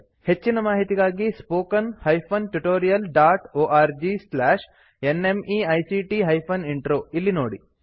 ಹೆಚ್ಚಿನ ಮಾಹಿತಿಗಾಗಿ spoken hyphen tutorial dot org slash NMEICT hyphen intro ಇಲ್ಲಿ ನೋಡಿ